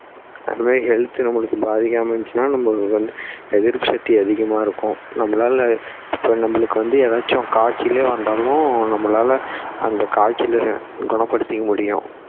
அந்த மாதிரி health நம்மளுக்கு பாதிக்காம இருந்திச்சுனா எதிர்ப்பு சக்தி அதிகமா இருக்கும் நம்மளால இப்போ நம்மளுக்கு வந்து ஏதாச்சும் காய்ச்சலே வந்தாலும் நம்மளால அந்த காய்ச்சலை குணப்படுத்திக்க முடியும்